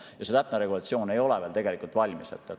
Ja see täpne regulatsioon ei ole veel tegelikult valmis.